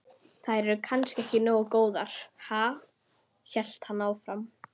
Þær eru kannski ekki nógu góðar, ha? hélt hann áfram.